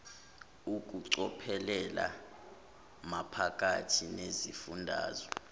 ukucophelela maphakathi nesifundazwe